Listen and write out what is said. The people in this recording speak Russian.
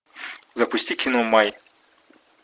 запусти кино май